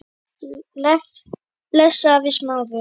Bless afi Smári.